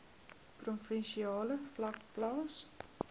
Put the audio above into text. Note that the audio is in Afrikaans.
provinsiale vlak plaas